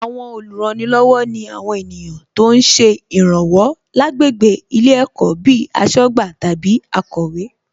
Àwọn olùrànilọ́wọ̀ ni àwọn ènìyàn tó ń ṣe ìràwọ̀ lágbègbè ilé ẹ̀kọ́ bíi aṣọ́gbà tàbí akọ̀wé